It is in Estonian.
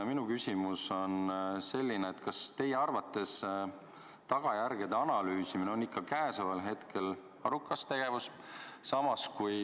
Minu küsimus on, kas teie arvates tagajärgede analüüsimine käesoleval hetkel on ikka arukas tegevus.